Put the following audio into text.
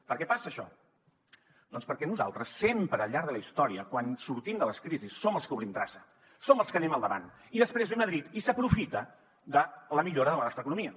per què passa això doncs perquè nosaltres sempre al llarg de la història quan sortim de les crisis som els que obrim traça som els que anem al davant i després ve madrid i s’aprofita de la millora de la nostra economia